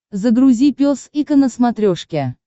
загрузи пес и ко на смотрешке